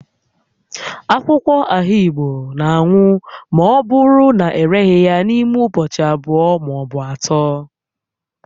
Akwụkwọ ahigbo na anwụma ọ bụrụ na ereghị ya n'ime ụbọchị abụọ ma ọ bụ atọ